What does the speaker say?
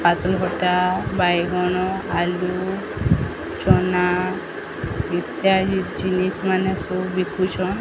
ପାତାଳଘଣ୍ଟା ବାଇଗଣ ଆଲୁ ଚନା ଇତ୍ୟାଦି ଜିନଷ ମାନେ ସବୁ ବିକୁଚନ।